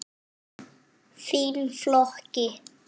Þinn, Flóki.